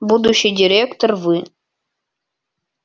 будущий директор вы